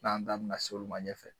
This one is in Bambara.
N'an da bɛna se olu ma ɲɛfɛ.